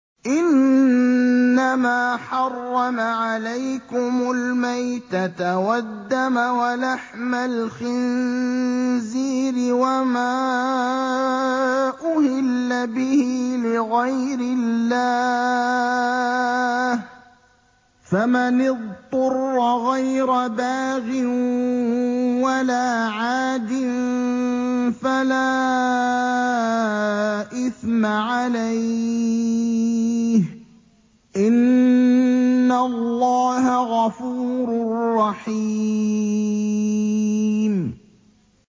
إِنَّمَا حَرَّمَ عَلَيْكُمُ الْمَيْتَةَ وَالدَّمَ وَلَحْمَ الْخِنزِيرِ وَمَا أُهِلَّ بِهِ لِغَيْرِ اللَّهِ ۖ فَمَنِ اضْطُرَّ غَيْرَ بَاغٍ وَلَا عَادٍ فَلَا إِثْمَ عَلَيْهِ ۚ إِنَّ اللَّهَ غَفُورٌ رَّحِيمٌ